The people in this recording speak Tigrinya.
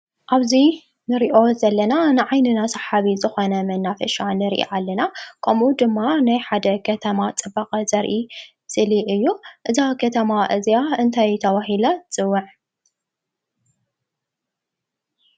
ኣብዚ ንሪኦ ዘለና ንዓይንና ሰሓቢ ዝኾነ መናፈሻ ንሪኢ ኣለና ከምኡ ድማ ናይ ሓደ ከተማ ፅባቐ ዘርኢ እስሊ እዩ፡፡ እዛ ከተማ እዝኣ እንታይ ተባሂላ ትፅዋዕ?